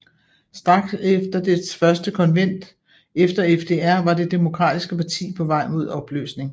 Straks efter dets første konvent efter FDR var det Demokratiske parti på vej mod opløsning